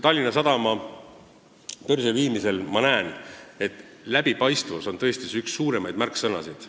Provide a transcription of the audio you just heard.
Tallinna Sadama börsile viimisel on minu arvates läbipaistvus tõesti üks põhilisi märksõnasid.